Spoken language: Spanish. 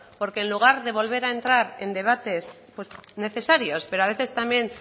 porque en lugar de volver a entrar en debates necesarios pero a veces también